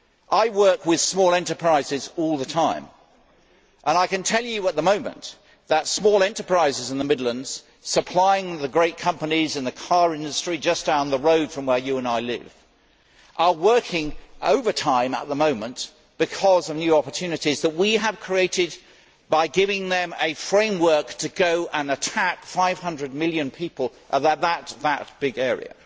I work with small enterprises all the time, and I can tell her that small enterprises in the Midlands supplying the great companies in the car industry, just down the road from where she and I live, are working overtime at the moment because of new opportunities that we have created by giving them a framework to go and attack a market numbering 500 million people that big an area.